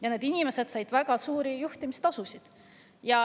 Ja need inimesed said väga suuri juhtimistasusid.